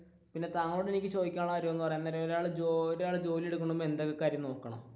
പിന്നെ താങ്കളോട് എനിക്ക് ചോദിക്കാനുള്ള കാര്യം എന്ന് പറയാൻ നേരം ഒറഒരാൾ ജോലിയെടുക്കുന്നത് മുൻപ് എന്തൊക്കെ കാര്യങ്ങൾ നോക്കണം,